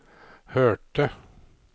hørte